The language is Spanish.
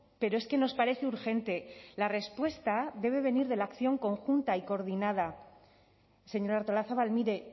pero es que nos parece urgente la respuesta debe venir de la acción conjunta y coordinada señora artolazabal mire